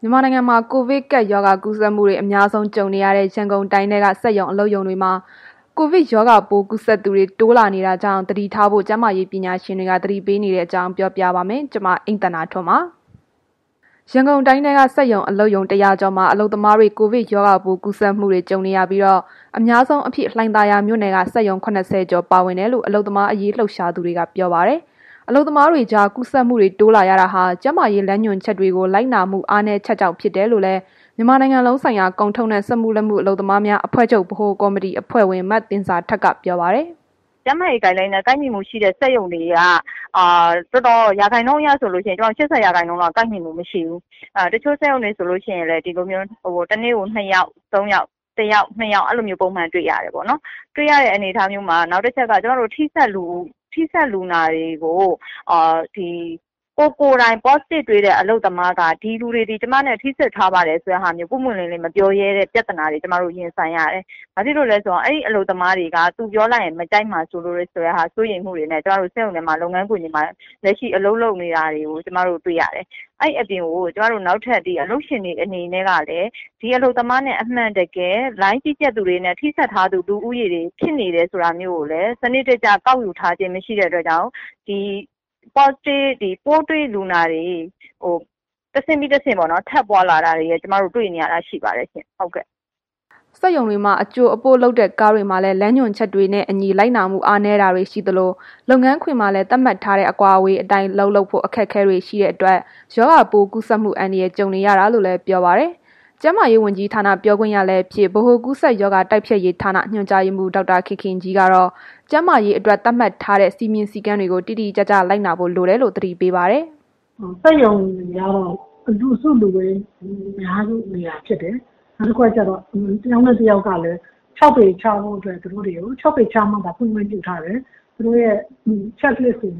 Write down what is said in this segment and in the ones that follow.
မြန်မာနိုင်ငံမှာ ကိုဗစ်ကပ်ရောဂါ ကူးစက်မှုတွေ အများဆုံးကြုံနေရတဲ့ ရန်ကုန်တိုင်းထဲက စက်ရုံအလုပ်ရုံတွေမှာ ရောဂါပိုးကူးစက်သူတွေ တိုးလာနေတာကြောင့် သတိထားဖို့ ကျန်းမာရေးပညာရှင်တွေ သတိပေးနေတဲ့အကြောင်းကို ဗွီအိုအေမြန်မာပိုင်း သတင်းထောက် မအိမ့်သန္တာထွန်းက ပြောပြပါမယ်။ ရန်ကုန်တိုင်းထဲက စက်ရုံ၊ အလုပ်ရုံ ၁၀၀ ကျော်မှာ အလုပ်သမားတွေ ကိုဗစ်ရောဂါပိုး ကူးစက်မှုတွေ ကြုံနေရပြီး၊ အများဆုံးအဖြစ် လှိုင်သာယာမြို့နယ်က စက်ရုံ ၇၀ ကျော်ပါဝင်ကြောင်း အလုပ်သမားရေး လှုပ်ရှားသူတွေက ပြောပါတယ်။ အလုပ်သမားတွေကြား ကူးစက်မှုတွေ တိုးလာရတာဟာ ကျန်းမာရေးလမ်းညွှန်ချက်တွေကို လိုက်နာမှု အားနည်းချက်ကြောင့် ဖြစ်တယ်လို့လည်း မြန်မာနိုင်ငံလုံးဆိုင်ရာ ကုန်ထုတ်နဲ့ စက်မှုလက်မှု အလုပ်သမားများအဖွဲ့ချုပ် ဗဟိုကော်မတီအဖွဲ့ဝင် မသင်ဇာထက်က ပြောပါတယ်။ “ကျန်းမာရေး Guideline နဲ့ ကိုက်ညီမှုရှိတဲ့ စက်ရုံတွေက ရာခိုင်နှုန်းအရဆိုရင် ၈၀ ရာခိုင်နှုန်းလောက် ကိုက်ညီမှု မရှိဘူး။ တချို့စက်ရုံတွေဆိုရင် တစ်နေ့ကို နှစ်ယောက် သုံးယောက်၊ တစ်ယောက်၊ နှစ်ယောက် အဲ့လိုမျိုးပုံမှန် တွေ့ရတယ်ပေါ့နော်။ တွေ့ရတဲ့ အခြေအနေမျိုးမှာ နောက်တစ်ချက်က ထိစပ်လူနာတွေကို ကိုယ်ကိုယ်တိုင် Positive တွေ့တဲ့ အလုပ်သမားက ဒီလူတွေသည် ကျမနဲ့ ထိစပ်ထားပါတယ်ဆိုတဲ့ဟာမျိုး ပွင့်ပွင့်လင်းလင်းမပြောရဲတဲ့ ပြသနာတွေ ကျမတို့ ရင်ဆိုင်ရပါတယ်။ ဘာဖြစ်လို့လဲဆိုတော့ အဲ့ဒီ အလုပ်သမားတွေက သူတို့ပြောလိုက်ရင် မကြိုက်မှာစိုးလို့ ဆိုတဲ့ဟာမျိုးနဲ့ စက်ရုံထဲမှာ လုပ်ငန်းခွင် တွေမှာ လက်ရှိအလုပ်လုပ်နေတာတွေကို ကျမတို့တွေ့ရတယ်။ အဲ့ဒီအပြင် ကို နောက်ထပ် ကျမတို့ အလုပ်ရှင်တွေအနေနဲ့ကလည်း ဒီအလုပ်သမားနဲ့ အမှန်တကယ်၊ လိုင်းကြီး ကြပ်သူတွေနဲ့ ထိစပ်ထား သူတွေ ဖြစ်နေတယ်ဆိုတာမျိုးကိုလည်း စနစ်တကျကောက်ယူထာားခြင်း မရှိတဲ့အတွက်ကြောင့် ဒီပိုးတွေ့လူနာတွေ တဆင့်ပြီးတဆင့် ထပ်ပွားလာတာတွေ တွေ့နေရတာရှိပါတယ်ရှင်။” စက်ရုံတွေမှာ အကြိုအပို့လုပ်တဲ့ ကားတွေမှာလည်း လမ်းညွှန်ချက်တွေကို လိုက်နာမှု အားနည်းတာတွေ ရှိသလို လုပ်ငန်းခွင်မှာလည်း သတ်မှတ်ထားတဲ့ အကွာအဝေးအတိုင်း အလုပ်လုပ်ဖို့ အခက်အခဲတွေ ရှိနေတဲ့အတွက် ရောဂါကူးစက်မှု အန္တရာယ် ကြုံနေရတာလို့လည်း ပြောပါတယ်။ ကျန်းမာရေးဝန်ကြီးဌာန ပြောခွင့်ရလည်းဖြစ် ဗဟိုကူးစက်ရောဂါတိုက်ဖျက်ရေးဌာန ညွန်ကြားရေးမှုး ဒေါက်တာခင်ခင်ကြီးကတော့ ကျန်းမာရေးအတွက် သတ်မှတ်ထားတဲ့ စည်းမျဉ်းစည်းကမ်းတွေကို တိတိကျကျ လိုက်နာဖို့လိုတယ်လို့ သတိပေးပါတယ်။ “စက်ရုံတွေက လူစုလူဝေးများတဲ့နေရာဖြစ်တယ်။ နောက်တစ်ခုက တစ်ယောက်နဲ့တစ်ယောက်ကလည်း ၆ ပေခြားမှသာ ဖွင့်ခွင့်ပြုထားတယ်။ သူတို့ရဲ့ Check List ကို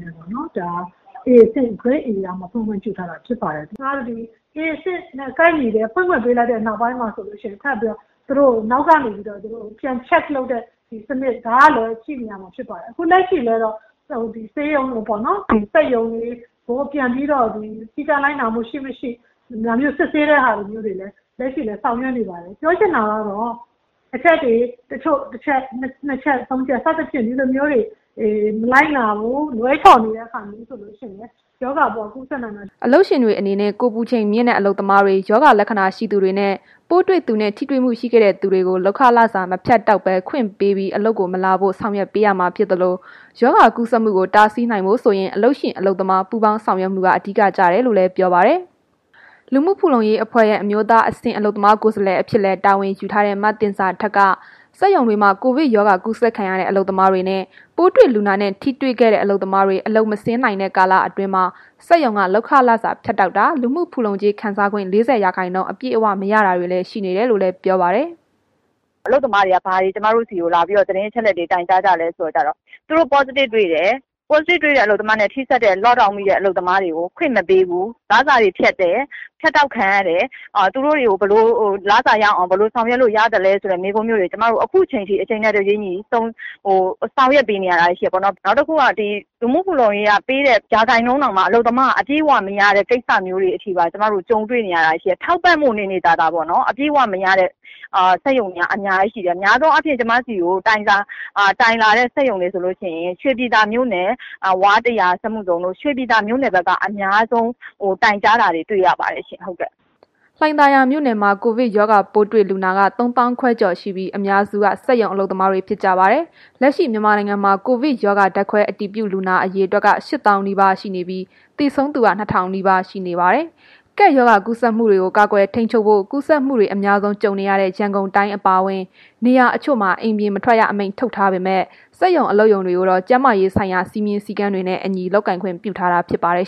Grade Aရမှသာ ဖွင့်ခွင့်ပြု ထားတယ်။ ဒါအပြင့် A အဆင့်နဲ့ ကိုက်ညီလို့ ဖွင့်ခွင့်ပေးလိုက်တဲ့ နောက်ပိုင်းမှာလည်း သူတို့ကို နောက်ကနေပြီးတော့ ပြန် Check လုပ်တဲ့ စနစ် ဒါကလည်းရှိနေရမှာဖြစ်ပါတယ်။ ခုလက်ရှိလည်း တော့ စက်ရုံတွေကို စည်းကမ်းလိုက်နာမှု ရှိ၊ မရှိ ဒါမျိုး စစ်ဆေးတဲ့ဟာမျိုးတွေလည်း လက်ရှိလည်း ဆောင်ရွက်နေပါတယ်။ ပြောချင်တာကတော့ အချက်တွေ တချို့ တစ်ချက် နှစ်ချက် ဒါမျိုးတွေ မလိုက်နာဘူး၊ လွဲချော်နေတယ်ဆိုရင် ရောဂါပိုးက ကူးစက်နိုင်မယ်။” အလုပ်ရှင်တွေအနေနဲ့ ကိုယ်ပူချိန်မြင့်နေတဲ့ အလုပ်သမားတွေ၊ ရောဂါလက္ခဏာရှိတဲ့သူတွေနှင့် ပိုးတွေ့သူနဲ့ ထိတွေ့မှုရှိခဲ့တဲ့သူတွေကို လုပ်ခလစာ မဖြတ်တောက်ဘဲ ခွင့်ပေးပြီး အလုပ်ကို မလာစေဖို့ ဆောင်ရွက်ပေးရမှာဖြစ်သလို ရောဂါကူးစက်မှုကို တားဆီးနိုင်ဖို့ဆိုရင် အလုပ်ရှင် အလုပ်သမား ပူးပေါင်းဆောင်ရွက်မှုက အဓိကကျတယ်လို့လည်း ပြောပါတယ်။ လူမှုဖူလုံရေးအဖွဲ့ရဲ့ အမျိုးသားအဆင့် အလုပ်သမားကိုယ်စားလှယ်အဖြစ်လည်း တာဝန်ယူထားတဲ့ မသင်ဇာထက်က စက်ရုံတွေမှာ ကိုဗစ်ကူးစက်ခံရတဲ့အလုပ်သမားတွေနှင့် ပိုးတွေ့လူနာနဲ့ ထိတွေ့ခဲ့တဲ့ အလုပ်သမားတွေ အလုပ်မဆင်း နိုင်တဲ့ကာလအတွင်းမှာ စက်ရုံက လုပ်ခလစာဖြတ်တောက်တာ၊ လူမှုဖူလုံကြေး ခံစားခွင့် ၄၀ ရာခိုင်းနှုန်း အပြည့်အဝမရတာတွေလည်း ရှိနေတယ်လို့ ပြောပါတယ်။ “အလုပ်သမားတွေက ဘာတွေ ကျမတို့ဆီလာပြီး သတင်းအချက်အလက်တွေ တိုင်ကြားကြလဲဆို တော့ သူတို့ Positive တွေ့တယ်။ Positive တွေ့တဲ့အလုပ်သမားတွေနဲ့ ထိစပ်တဲ့ Lock down မိတဲ့ အလုပ်သမားတွေကို ခွင့်မပေးဘူး၊ လစာတွေဖြတ်တယ်။ ဖြတ်တောက်ခံရတဲ့ လစာတွေကို ရအောင် ဘယ်လိုဆောင်ရွက်လို့ရသလဲ ဆိုတဲ့ မေးခွန်းတွေ ကျွန်မတို့ ခုချိန်ထိ အချိန်နဲ့တပြေးညီ ဆောင်ရွက်ပေးနေတာတွေ ရှိတယ်ပေါ့နှော်။ နောက်တစ်ခုက လူမှုဖူလုံရေးက ပေးတဲ့ ရာခိုင်နှုန်းတောင်မှာ အလုပ်သမားက အပြည့်အဝမရတဲ့ ကိစ္စမျိုးတွေအထိပါ ကြုံတွေနေရတာရှိတယ်။ ထောက်ပံ့ဖို့နေနေသာသာ ပေါ့နော်။ အပြည့်အဝမရတဲ့ စက်ရုံတွေ အများကြီးရှိတယ်။ များသောအားဖြင့် ကျမတို့ဆီကို တိုင်လာတဲ့ စက်ရုံတွေဆိုလို့ရှိရင် ရွှေပြည်သာမြို့နယ် ဝါးတစ်ရာ စက်မှုဇုန်တို့ ရွှေပြည်သာမြို့နယ်က အများဆုံး တိုင်ကြားတာတွေ တွေ့ရပါတယ်ရှင်။” လှိုင်သာယာမြို့နယ်မှာ ကိုဗစ်ရောဂါပိုးတွေ့လူနာက ၃၅,၀၀၀ ကျော်ရှိပြီး အများစုက စက်ရုံအလုပ်သမားတွေဖြစ်ကြပါတယ်။ လက်ရှိ မြန်မာနိုင်ငံမှာ ကိုဗစ်ရောဂါ ဓာတ်ခွဲအတည်ပြုလူနာ အရေအတွက်က ၈၀,၀၀၀ နီးပါးရှိနေပြီး သေဆုံးသူက ၂,၀၀၀ နီးပါးရှိနေပါတယ်။ ကပ်ရောဂါကူးစက်မှုတွေကို ကာကွယ်ထိန်းချုပ်ဖို့ ကူးစက်မှုတွေ အများဆုံး ကြုံနေရတဲ့ ရန်ကုန်တိုင်းအပါအဝင် နေရာတချို့မှာ အိမ်ပြင်မထွက်ရ အမိန့်ထုတ်ထားပေမဲ့ စက်ရုံအလုပ်ရုံတွေကိုတော့ ကျန်းမာရေးဆိုင်ရာ စည်းမျဉ်းစည်းကမ်းတွေနဲ့အညီ လုပ်ကိုင်ခွင့်ပြုထားတာ ဖြစ်ပါတယ်